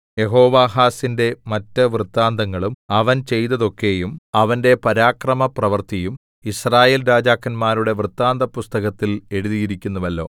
യെഹോവാഹാസിന്റെ മറ്റ് വൃത്താന്തങ്ങളും അവൻ ചെയ്തതൊക്കെയും അവന്റെ പരാക്രമപ്രവൃത്തിയും യിസ്രായേൽ രാജാക്കന്മാരുടെ വൃത്താന്തപുസ്തകത്തിൽ എഴുതിയിരിക്കുന്നുവല്ലോ